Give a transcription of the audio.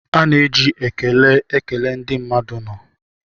A na-eji ekele ekele ndị mmadụ nọ